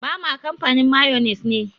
Bama kamfanin mayones ne.